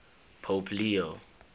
pope leo